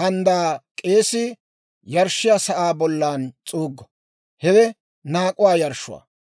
handdaa k'eesii yarshshiyaa sa'aa bollan s'uuggo; hewe naak'uwaa yarshshuwaa.